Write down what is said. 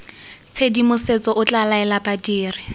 tshedimosetso o tla laela badiri